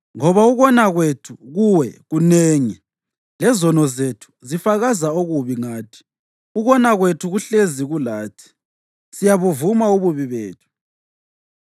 Ngoba ukona kwethu kuwe kunengi, lezono zethu zifakaza okubi ngathi. Ukona kwethu kuhlezi kulathi; siyabuvuma ububi bethu,